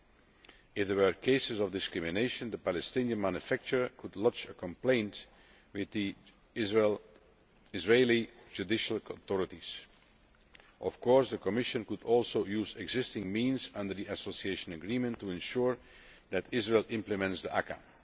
If there were to be cases of discrimination, the Palestinian manufacturer could lodge a complaint with the Israeli judicial authorities. Of course, the Commission could also use existing means under the Association Agreement to ensure that Israel implements the ACAA.